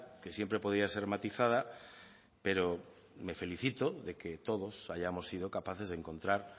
que siempre podía ser matizada pero me felicito de que todos hayamos sido capaces de encontrar